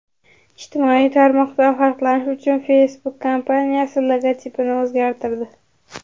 Ijtimoiy tarmoqdan farqlanish uchun Facebook kompaniyasi logotipini o‘zgartirdi.